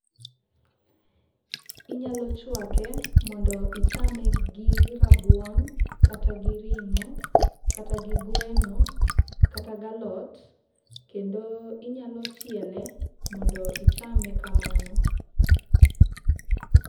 Inyalo chwake, mondo ichame gi rabuon kata gi ring'o kata gi gweno kata gi alot. Kendo inyalo chiele, mondo ichame kamano.